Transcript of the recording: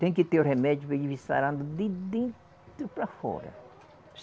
Tem que ter o remédio para ele vir sarando de dentro para fora.